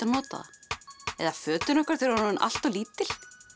nota það eða fötin okkar þegar orðin allt of lítil